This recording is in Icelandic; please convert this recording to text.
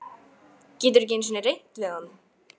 Getur ekki einu sinni reynt við hann.